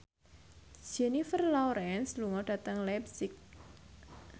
Jennifer Lawrence lunga dhateng leipzig